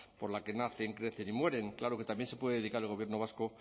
por la que nacen crecen y mueren claro que también se puede dedicar el gobierno vasco